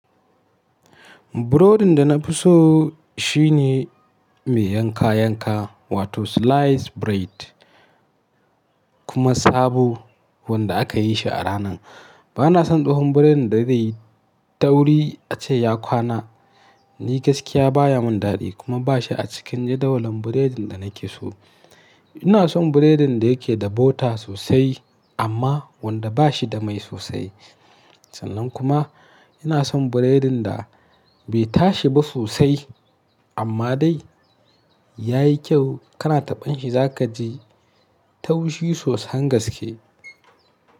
Burodin da na fi so shine mai yanka yanka wato sliced bread kuma sabo wanda aka yi shi a ranan. Bana son tsohon burodin da zai yi tauri ace ya kwana. Ni gaskiya baya mun dadi kuma ba shi a cikin jadawalin burodin da nake so. Ina son burodin da yake da bota sosai amma wanda ba shi da mai sosai. Sannan kuma ina son burodin da bai tashi ba sosai amma dai ya yi kyau kana taɓan shi za ka ji taushi sosain gaske.